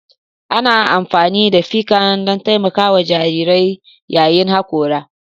Ana amfani da ficcan don taimakawa jarirai yayin hakora